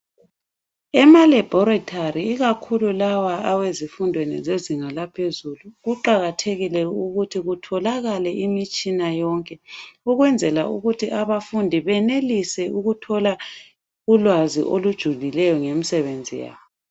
Ema labhoretari , ikakhulu lawa wezifundweni zezinga laphezulu kuqakathekile ukuthi kutholakale imitshina yonke ukwenzela ukuthi abafundi benelise ukuthola ulwazi olujulileyo ngemisebenzi yabo.